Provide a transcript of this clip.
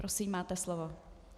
Prosím, máte slovo.